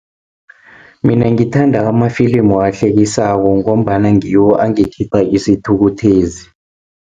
Mina ngithanda amafilimu ahlekisako, ngombana ngiwo angikhipha isithukuthezi.